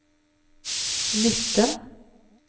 nitten